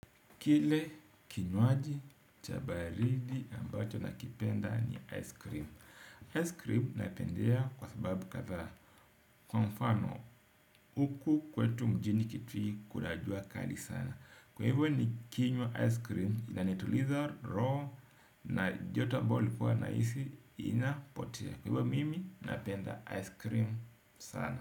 Kile kinywaji cha baridi ambacho nakipenda ni ice cream. Ice cream napendea kwa sababu kadhaa. Kwa mfano, huku kwetu mjini kitui kuna jua kali sana. Kwa hivyo nikinywa ice cream, inanituliza roho na joto ambalo nilikuwa nahisi inapotea. Kwa hivyo mimi napenda ice cream sana.